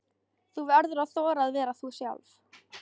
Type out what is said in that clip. Þú verður að þora að vera þú sjálf.